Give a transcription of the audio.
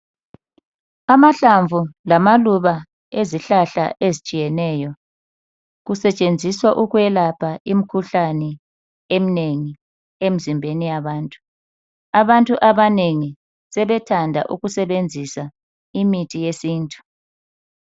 Amahlamvu lamaluba ezihlahla ezitshiyeneyo kusetshenziswa ukwelapha imikhuhlane eminengi emizimbeni yabantu abantu abanengi sebethanda ukusebenzisa imithi yesintu.